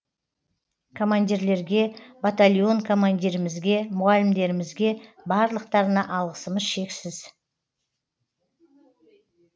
командирлерге батальон командирімізге мұғалімдерімізге барлықтарына алғысымыз шексіз